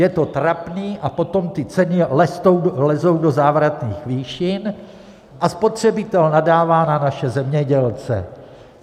Je to trapné, a potom ty ceny lezou do závratných výšin a spotřebitel nadává na naše zemědělce.